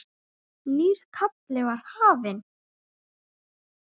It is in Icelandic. Nýr kafli var hafinn.